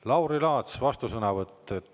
Lauri Laats, vastusõnavõtt.